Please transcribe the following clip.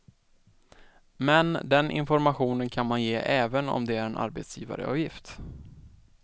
Men, den informationen kan man ge även om det är en arbetsgivareavgift.